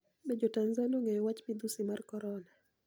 Be Jo-Tanizaniia onig'eyo wachmidhusi mar koronia?